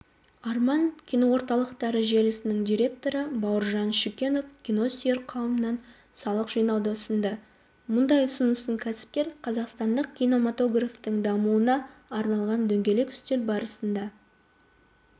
арман киноорталықтары желісінің директоры бауыржан шүкенов киносүйер қауымнан салық жинауды ұсынды мұндай ұсынысын кәсіпкер қазақстандық кинематографтың дамуына арналған дөңгелек үстел барысында